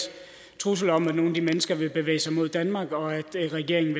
trussel om at nogle af de mennesker ville bevæge sig mod danmark og at regeringen